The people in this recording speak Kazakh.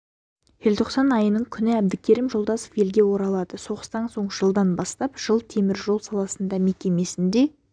желтоқсан айының күні әбдікерім жолдасов елге оралады соғыстан соң жылдан бастап жыл теміржол саласында мекемесінде